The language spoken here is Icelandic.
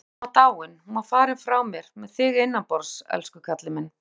Hún var dáin. hún var farin frá mér með þig innanborðs, elsku kallinn minn.